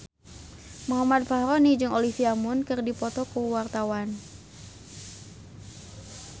Muhammad Fachroni jeung Olivia Munn keur dipoto ku wartawan